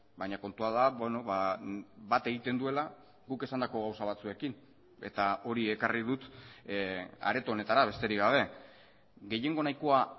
baina kontua da bat egiten duela guk esandako gauza batzuekin eta hori ekarri dut areto honetara besterik gabe gehiengo nahikoa